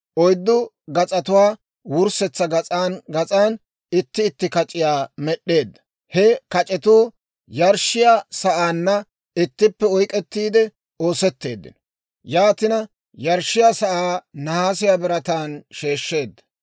Oyddu gas'atuwaa wurssetsa gas'an gas'an itti itti kac'iyaa med'd'eedda. He kac'etuu yarshshiyaa sa'aanna ittippe oyk'k'ettiide oosetteeddino. Yaatina yarshshiyaa sa'aa nahaasiyaa birataan sheeshsheedda.